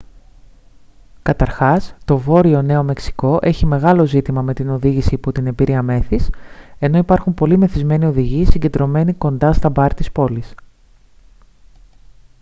καταρχάς το βόρειο νέο μεξικό έχει μεγάλο ζήτημα με την οδήγηση υπό την επήρεια μέθης ενώ υπάρχουν πολλοί μεθυσμένοι οδηγοί συγκεντρωμένοι κοντά στα μπαρ της πόλης